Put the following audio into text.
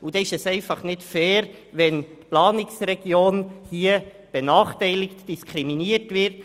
Deshalb ist es einfach nicht fair, wenn die Planungsregion benachteiligt und diskriminiert wird.